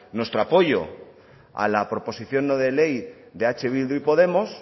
nuestro apoyo a la proposición no de ley de eh bildu y podemos